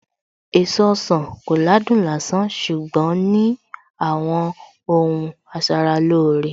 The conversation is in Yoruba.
Èso ọsàn kò ládùn lásán ṣùgbọ́n ní àwọn ohun asaralóore